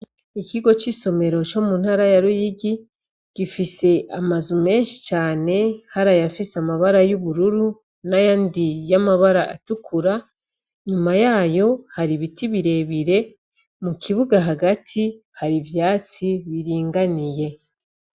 Ikigo c'isomero co mu ntara ya Ruyigi, gifise amazu menshi cane, hari ayafise amabara y'ubururu n'ayandi y'amabara atukura, nyuma yayo hari ibiti birebire, mukibuga hagati hari ivyatsi biringaniye.